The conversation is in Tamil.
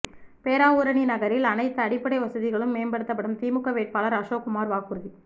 பேராவூரணி நகரில் அனைத்து அடிப்படை வசதிகளும் மேம்படுத்தப்படும் திமுக வேட்பாளர் அசோக்குமார் வாக்குறுதி